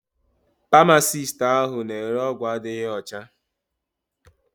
Pamasist ahụ na ere ọgwụ adịgboroja.